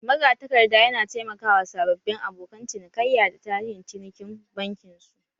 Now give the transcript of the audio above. Magatakarda yana taimaka wa sababbin abokan cinikayya da tarihin cinikin bankin su